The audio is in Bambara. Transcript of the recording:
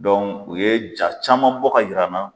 Dɔn u ye ja caman bɔ ka yir'an na